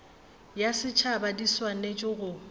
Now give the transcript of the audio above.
ya setšhaba di swanetše go